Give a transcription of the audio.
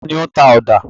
Ta ni ó ń ta ọ̀dà?